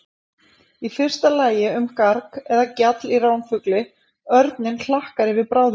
Í fyrsta lagi um garg eða gjall í ránfugli, örninn hlakkar yfir bráðinni.